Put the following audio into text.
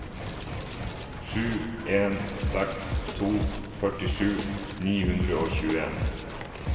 sju en seks to førtisju ni hundre og tjueen